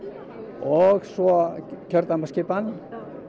og svo kjördæmaskipan